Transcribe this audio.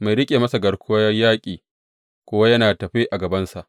Mai riƙe masa garkuwar yaƙi kuwa yana tafe a gabansa.